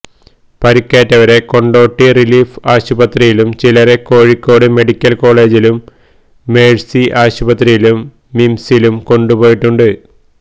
പരിക്കേറ്റവരെ കൊണ്ടോട്ടി റിലീഫ് ആശുപത്രിയിലും ചിലരെ കോഴിക്കോട് മെഡിക്കല് കോളേജിലും മേഴ്സി ആശുപത്രിയിലും മിംസിലും കൊണ്ടുപോയിട്ടുണ്ട്